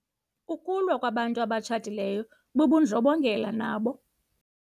Ukulwa kwabantu abatshatileyo bubundlobongela nabo.